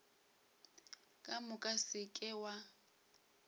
ka moka se ke wa